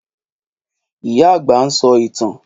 Ìyá-àgbà ń sọ ìtàn.